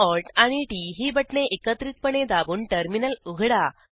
CTRLALTT ही बटणे एकत्रितपणे दाबून टर्मिनल उघडा